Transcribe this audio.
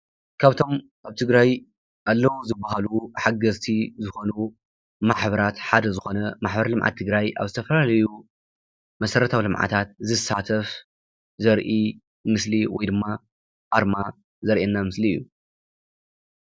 ካብቶም አብ ትግራይ አለው ዝበሃሉ ሓገዝቲ ዝኮኑ ማሕበራት ሓደ ዝኮነ ማሕበር ልምዓት ትግራይ አብ ዝተፈላለዩ መሰረታዊ ልምዓታት ዝሳተፍ ዘርኢ ምስሊ ወይ ድማ አርማ ዘርእየና ምስሊ እዩ፡፡